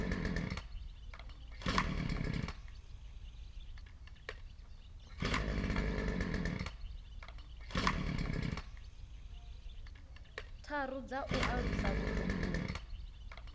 tharu dza u alusa vhutumbuli